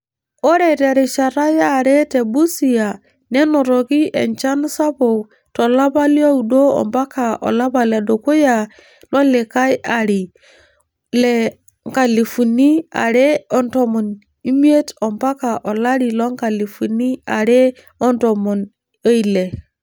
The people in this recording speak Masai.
Ore terishata yare te Busia nenotoki enchan sabuk to lapa liooudo mpaka olapa ledukuya lolikae ari olari le nkalifuni are otomon omiet mpaka olari loonkalifuni are otomon oile.